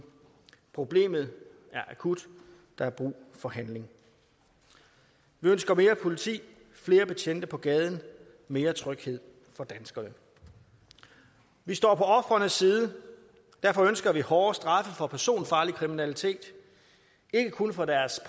problemet er akut der er brug for handling vi ønsker mere politi flere betjente på gaden mere tryghed for danskerne vi står på ofrenes side derfor ønsker vi hårdere straffe for personfarlig kriminalitet ikke kun for deres